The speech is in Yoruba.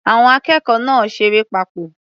Àwọn akẹ́kọ̀ọ́ náà ṣeré papọ̀.